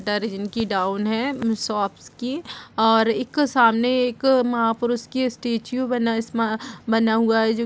shutter जिनकी down है हम्म शॉपस की और एक सामने एक महापुरुष की स्टेचू बना इसमा बना हुआ है जो --